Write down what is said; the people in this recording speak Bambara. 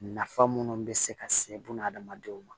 Nafa minnu bɛ se ka se bunadamadenw ma